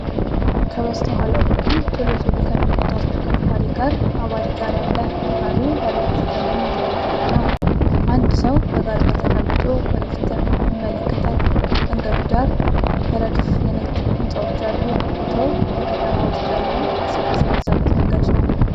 ከበስተኋላው በኩል ቶሎ ቶሎ ከሚነዳ ተሽከርካሪ ጋር አባሪ ጋሪ አለ። ጋሪው ባለ ብዙ ቀለም የተነደፈ ነው። አንድ ሰው በጋሪው ላይ ተቀምጦ ወደ ፊት ይመለከታል። መንገዱ ዳር በረድፍ የንግድ ሕንፃዎች አሉ። ቦታው በከተማ ውስጥ ያለ እንቅስቃሴ የበዛበት መንገድ ነው።